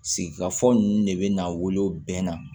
Sigikafɔ ninnu de bɛ n'a wolo bɛɛ na